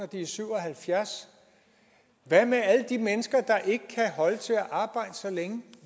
de er syv og halvfjerds år hvad med alle de mennesker der ikke kan holde til at arbejde så længe